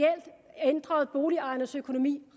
ændrede boligejernes økonomi